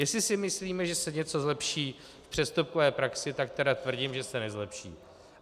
Jestli si myslíme, že se něco zlepší v přestupkové praxi, tak tedy tvrdím, že se nezlepší.